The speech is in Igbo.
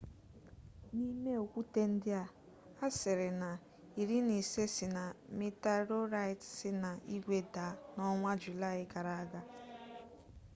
n'ime okwute ndi a asiri na iri na ise si na meterorite si na igwe daa n'onwa julai gara aga